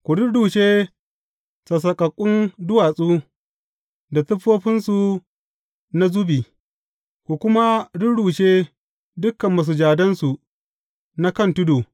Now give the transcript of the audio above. Ku rurrushe sassaƙaƙƙun duwatsu, da siffofinsu na zubi, ku kuma rurrushe dukan masujadansu na kan tudu.